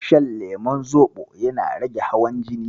Shan lemon Zoɓo yana rage hawan jini.